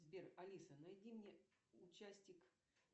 сбер алиса найди мне участик